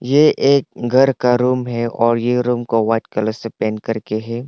ये एक गर का रूम है और ये रूम को व्हाईट कलर से पेंट कर के है।